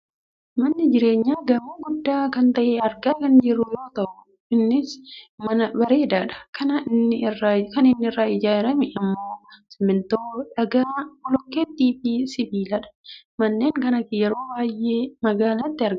Mana jireenyaa gamoo guddaa kan ta'e argaa kan jirru yoo ta'e innis mana bareedaadha. Kan inni irraa ijaarrame ammoo ; simmintoo, dhagaa, bolokkeettii fi sibiiladha. Manneen akkanaa yeroo baayyee magaalaatti argamu.